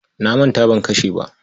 Na manta ban kashe ba.